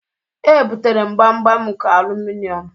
Ebutere gbamgbam nke alụmịọn.